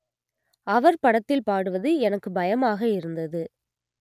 அவர் படத்தில் பாடுவது எனக்கு பயமாக இருந்தது